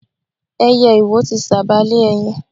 Ẹyẹ iwo ti sába lé ẹyin.